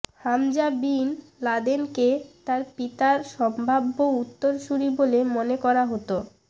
Hamza bin লাদেনকে তার পিতার সম্ভাব্য উত্তরসূরী বলে মনে করা হতো